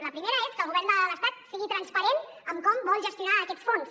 la primera és que el govern de l’estat sigui transparent amb com vol gestionar aquests fons